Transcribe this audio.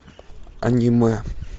аниме